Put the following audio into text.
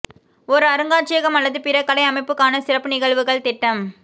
ஒரு அருங்காட்சியகம் அல்லது பிற கலை அமைப்புக்கான சிறப்பு நிகழ்வுகள் திட்டம்